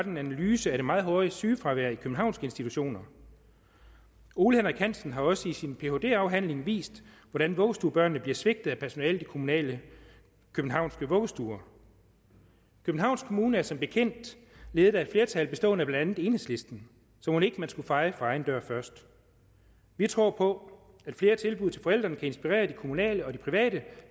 en analyse af det meget høje sygefravær i københavnske institutioner ole henrik hansen har også i sin phd afhandling vist hvordan vuggestuebørnene bliver svigtet af personalet i kommunale københavnske vuggestuer københavns kommune er som bekendt ledet af et flertal bestående af blandt andet enhedslisten så mon ikke man skulle feje for egen dør først vi tror på at flere tilbud til forældrene kan inspirere de kommunale og de private